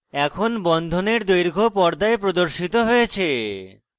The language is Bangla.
এখন বন্ধনের দৈর্ঘ্য পর্দায় প্রদর্শিত হয়েছে